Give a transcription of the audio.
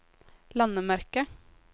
landemerke